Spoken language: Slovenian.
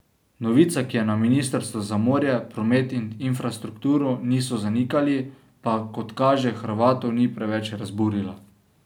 Novica, ki je na ministrstvu za morje, promet in infrastrukturo niso zanikali, pa, kot kaže, Hrvatov ni preveč razburila.